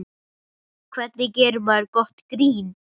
Hvernig gerir maður gott grín?